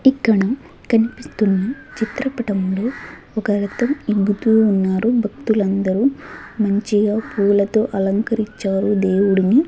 ఇక్కడ కనిపిస్తున్న చిత్రపటంలో ఒక రతం ఇగ్గుతూ ఉన్నారు భక్తులందరూ మంచిగా పూలతో అలంకరిచ్చారు దేవుడిని.